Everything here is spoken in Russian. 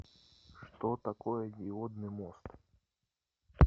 что такое диодный мост